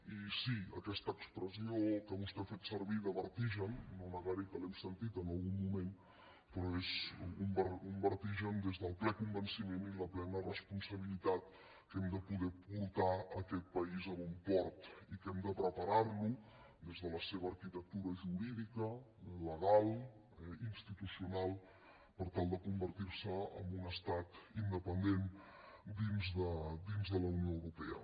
i sí aquesta expressió que vostè ha fet servir de vertigen no negaré que l’hem sentit en algun moment però és un vertigen des del ple convenciment i la plena responsabilitat que hem de poder portar aquest país a bon port i que hem de preparar lo des de la seva arquitectura jurídica legal institucional per tal de convertir se en un estat independent dins de la unió europea